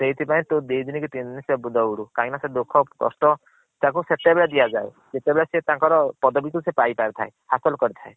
ସେଇଥି ପାଇଁ ତୁ ଦି ଦିନୀ କି ତିନି ଦିନି ଦୌଡୁ କାହିଁକି ନା ସେଇ ଦୁଖ କସ୍ତ ତାକୁ ସେତେବେଳେ ଦିଆଜାଏ ଯେତେବେଳେ ସିଏ ତନକର୍ ପଦବୀ କୁ ପାଇ ପାରି ଥାଏ ହାସଲ୍ କରି ଥାଏ।